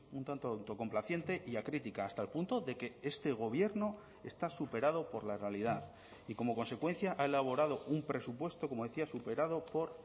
un tanto autocomplaciente y a crítica hasta el punto de que este gobierno está superado por la realidad y como consecuencia ha elaborado un presupuesto como decía superado por